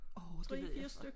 Åh det ved jeg for